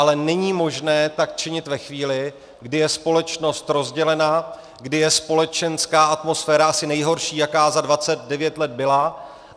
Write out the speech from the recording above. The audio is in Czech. Ale není možné tak činit ve chvíli, kdy je společnost rozdělena, kdy je společenská atmosféra asi nejhorší, jaká za 29 let byla.